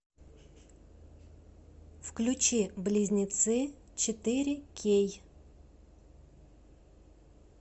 включи близнецы четыре кей